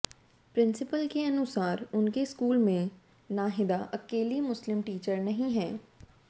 principal के अनुसार उनके स्कूल में नाहिदा अकेली मुस्लिम टीचर नहीं हैं